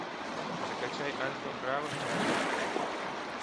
закачай альфа браво чарли